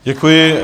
Děkuji.